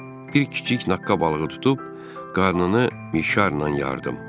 Bir kiçik naqqa balığı tutub qarnını mişarla yardım.